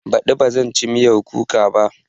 Baɗi ba zan ci miyan kuka ba